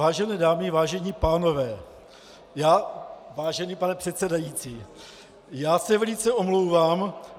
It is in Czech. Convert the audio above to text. Vážené dámy, vážení pánové, vážený pane předsedající, já se velice omlouvám.